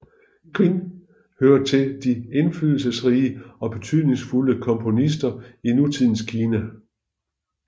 Qin hører til de indflydelsesrige og betydningsfulde komponister i nutidens Kina